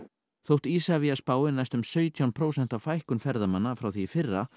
þótt Isavia spái næstum sautján prósent fækkun ferðamanna frá því í fyrra